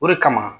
O de kama